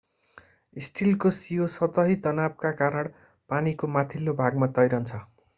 स्टिलको सियो सतही तनावका कारण पानीको माथिल्लो भागमा तैरन्छ